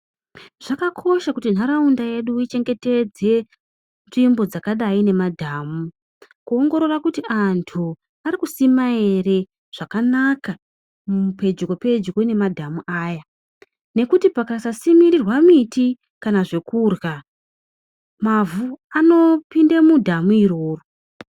Zvakakosha kuti nharaunda yedu ichengetedze nzvimbo dzakadai nemadhamu. Kuongorora kuti antu arikusima ere zvakanaka pedyo-pedyo nemadhamu aya. Nekuti pakasasimirirwa miti kana zvekurya, mavhu anopinde mudhamu iroro.